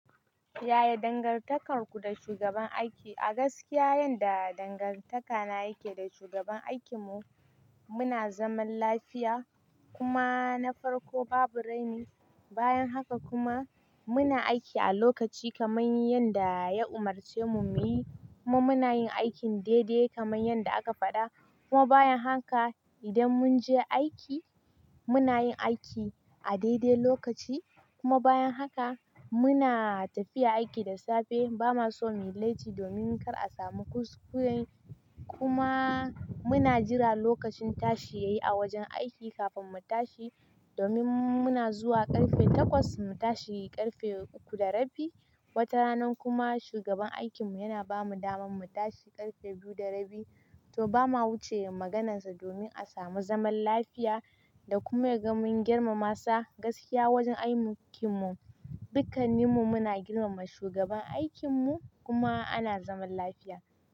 Yaya dangantakarku da shugaban aiki? A gaskiya, yanda dangantaka na yake da shugaban aikinmu, muna zaman lafiya kuma na farko babu raini. Bayan haka kuma muna aiki a lokaci kamar yanda ya umarce mu muyi. Kuma muna yin aikin daidai kamar yanda aka faɗa. Kuma bayan haka idan mun je aiki, muna yin aiki a daidai lokaci. Kuma bayan haka muna tafiya aiki da safe. Ba ma so mu yi latti domin kar a samu kuskure. Kuma muna jira lokacin tashi yayi a wajen aiki kafin mu tashi. Domin muna zuwa ƙarfe takwas mu tashi ƙarfe uku da rabi. Wata ranar kuma shugaban aikinmu yana ba mu damar mu tashi ƙarfe biyu da rabi. To ba ma wuce maganarsa domin a samu zaman lafiya da kuma mun girmama sa gaskiya wajen aikinmu. Dukanninmu muna girmama shugaban aikinmu kuma ana zaman lafiya.